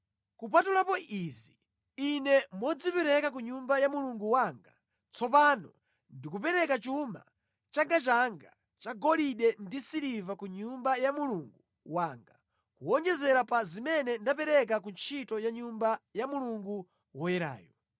Kupatulapo izi, ine modzipereka ku Nyumba ya Mulungu wanga, tsopano ndikupereka chuma changachanga cha golide ndi siliva ku Nyumba ya Mulungu wanga, kuwonjezera pa zimene ndapereka ku ntchito ya Nyumba ya Mulungu woyerayu: